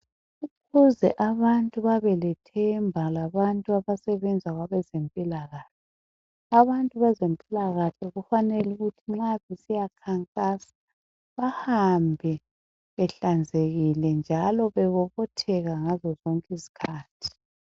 Ukuze abantu babelethemba labantu abasebenza kwabezempilakahle , abantu bezempilakahle kufanele ukuthi nxa besiya khankasa bahambe behlanzekile njalo bebobotheka ngazo zonke izikhathi.